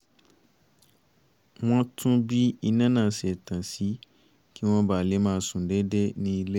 wọ́n tún bí iná náà ṣe tàn sí kí wọ́n ba lè máa sùn déédéé ní ilé